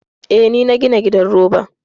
Eh, ni na gina gidan roban.